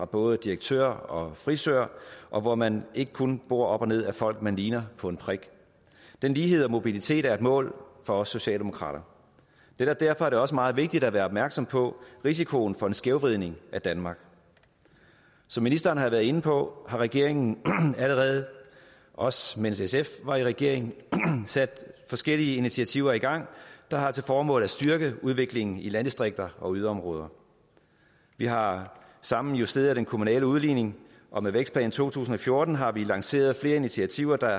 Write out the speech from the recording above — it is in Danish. både direktører og frisører og hvor man ikke kun bor op og ned ad folk man ligner på en prik den lighed og mobilitet er et mål for os socialdemokrater derfor er det også meget vigtigt at være opmærksom på risikoen for en skævvridning af danmark som ministeren har været inde på har regeringen allerede også mens sf var i regering sat forskellige initiativer i gang der har til formål at styrke udviklingen i landdistrikter og yderområder vi har sammen justeret den kommunale udligning og med vækstplan to tusind og fjorten har vi lanceret flere initiativer der